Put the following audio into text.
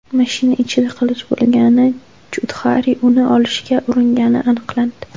Mashina ichida qilich bo‘lgani, Chudxari uni olishga uringani aniqlandi.